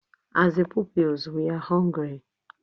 As a pupils we are hungry